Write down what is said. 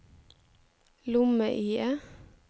lomme-IE